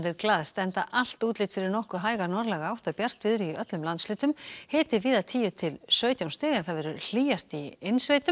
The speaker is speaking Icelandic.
glaðst enda allt útlit fyrir nokkuð hæga norðlæga átt og bjartviðri í öllum landshlutum hiti víða tíu til sautján stig hlýjast í innsveitum